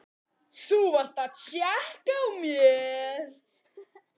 Þú varst að tékka á mér!